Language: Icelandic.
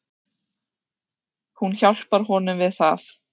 Hún hjálpar honum við það.